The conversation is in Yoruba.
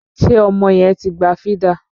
Ṣé ọmọ yẹn ti gba fídà?